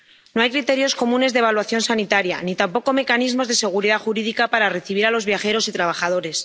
No hay criterios comunes de evaluación sanitaria, ni tampoco mecanismos de seguridad jurídica para recibir a los viajeros y trabajadores.